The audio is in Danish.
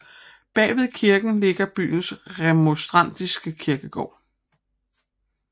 Bagved kirken ligger byens remonstrantiske kirkegård